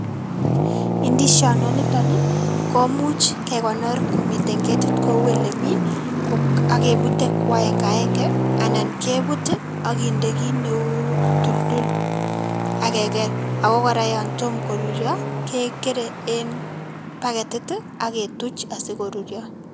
Indisionde niton ni ko much ke konor komiten ketit ko u ole mi, akebute ko aenge aenge anan ke but akende kiy neu tuldul akeger ako kora yan tomo koruryo kekere eng backetit aketuch asikorurio.